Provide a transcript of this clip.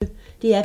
DR P1